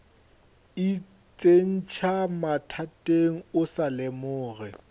itsentšha mathateng o sa lemoge